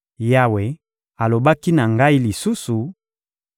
Yawe alobaki na ngai lisusu: